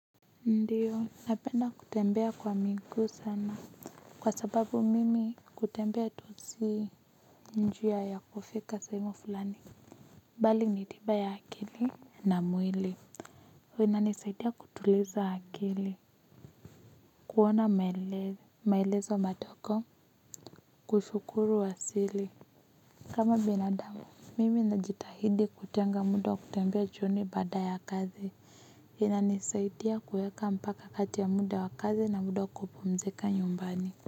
Ndiyo, napenda kutembea kwa miguu sana. Kwa sababu mimi kutembea tu si njia ya kufika sehemu fulani. Bali ni tiba ya akili na mwili. Unanisaidia kutuliza akili. Kuona maele maelezo madogo, kushukuru asili. Kama binadamu, mimi najitahidi kutenga muda wa kutembea jioni baada ya kazi. Inanisaidia kuweka mpaka kati ya muda wa kazi na muda kupumzika nyumbani.